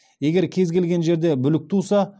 егер кез келген жерде бүлік туса